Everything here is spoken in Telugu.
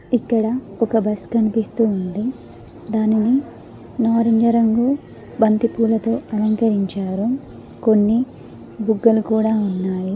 ఇక్కడ ఒక బస్ కన్పిస్తూ ఉంది దానిని నారింజ రంగు బంతిపూలతో అలంకరించారు కొన్ని బుగ్గలు కూడా ఉన్నాయి.